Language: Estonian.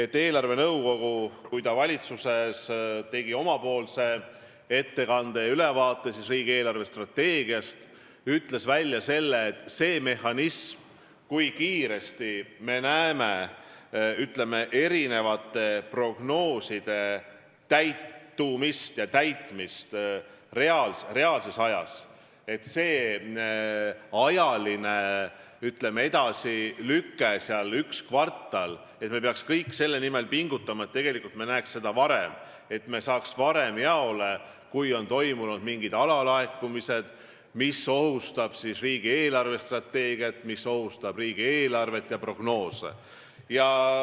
Kui eelarvenõukogu tegi valitsuses ettekande ja ülevaate riigi eelarvestrateegiast, siis nad ütlesid, et see, kui kiiresti me näeme, ütleme, prognooside täitumist ja täitmist reaalses ajas, see ajaline, ütleme, edasilüke on üks kvartal, aga me peaksime kõik pingutama selle nimel, et me näeksime varem, saaksime varem jaole, kui on olnud mingid alalaekumised, mis ohustavad riigi eelarvestrateegiat, riigieelarvet ja prognoose.